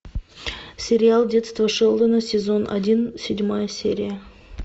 сериал детство шелдона сезон один седьмая серия